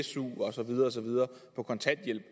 su osv på kontanthjælp